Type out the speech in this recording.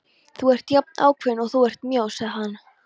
Þú ert jafn ákveðin og þú ert mjó, sagði hann.